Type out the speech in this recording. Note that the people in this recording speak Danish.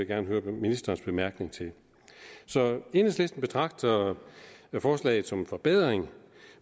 gerne høre ministerens bemærkning til så enhedslisten betragter forslaget som en forbedring